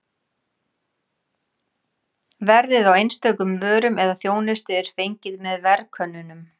Verðið á einstökum vörum eða þjónustu er fengið með verðkönnunum.